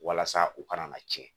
Walasa u kana na tiɲɛ